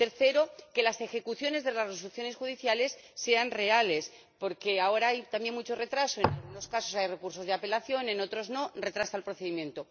tercero, que las ejecuciones de las resoluciones judiciales sean reales, porque ahora hay también mucho retraso y, en algunos casos, hay recursos de apelación ―en otros no―, que retrasan el procedimiento